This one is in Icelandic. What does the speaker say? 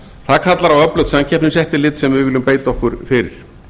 það kallar á öflugt samkeppniseftirlit sem við viljum beita okkur fyrir